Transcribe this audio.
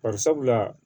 Bari sabula